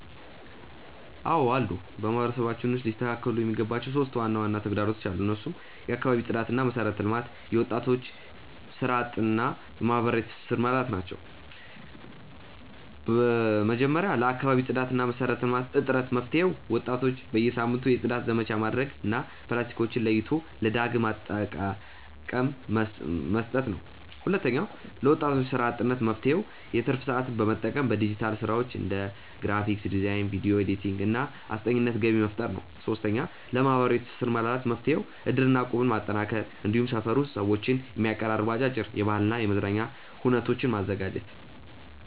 አዎ አሉ። በማህበረሰባችን ውስጥ ሊስተካከሉ የሚገባቸው 3 ዋና ዋና ተግዳሮቶች አሉ። እነሱም የአካባቢ ጽዳትና መሰረተ ልማት፣ የወጣቶች ስራ አጥነት እና የማህበራዊ ትስስር መላላት ናቸው። 1. ለአካባቢ ጽዳትና መሰረተ ልማት እጥረት መፍትሄው፦ ወጣቶች በየሳምንቱ የጽዳት ዘመቻ ማድረግ እና ፕላስቲኮችን ለይቶ ለዳግም አጠቃቀ መስጠት ነው። 2. ለወጣቶች ስራ አጥነት መፍትሄው፦ የትርፍ ሰዓትን በመጠቀም በዲጂታል ስራዎች (እንደ ግራፊክ ዲዛይን፣ ቪዲዮ ኤዲቲንግ) እና አስጠኚነት ገቢ መፍጠር ነው። 3. ለማህበራዊ ትስስር መላላት መፍትሄው፦ እድርና እቁብን ማጠናከር፣ እንዲሁም ሰፈር ውስጥ ሰዎችን የሚያቀራርቡ አጫጭር የባህልና የመዝናኛ ኩነቶችን ማዘጋጀት።